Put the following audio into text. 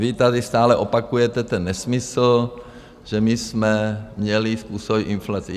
Vy tady stále opakujete ten nesmysl, že my jsme měli způsobit inflaci.